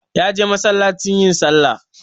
Ya je masallaci yin sallah